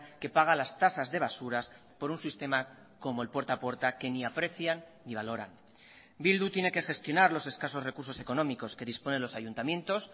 que paga las tasas de basuras por un sistema como el puerta a puerta que ni aprecian ni valoran bildu tiene que gestionar los escasos recursos económicos que disponen los ayuntamientos